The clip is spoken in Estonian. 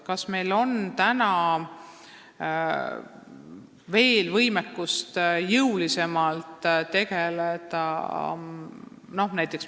Kas meil on täna võimekust sellega jõulisemalt tegeleda?